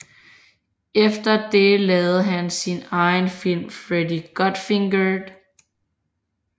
Efter det lavede han sin egen film Freddie Got Fingered